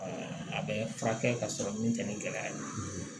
a bɛ furakɛ ka sɔrɔ min tɛ ni gɛlɛya ye